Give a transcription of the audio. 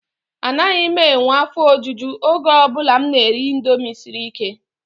Anaghị m enwe afọ ojuju oge ọ bụla m na-eri indomie siri ike.